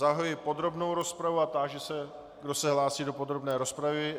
Zahajuji podrobnou rozpravu a táži se, kdo se hlásí do podrobné rozpravy.